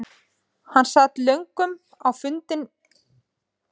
Hann sat löngum á fundum með föður sínum bak við luktar dyr.